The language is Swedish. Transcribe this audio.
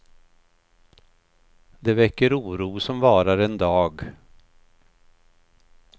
Det väcker oro, som varar en dag.